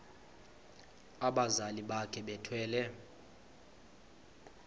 abazali bakhe bethwele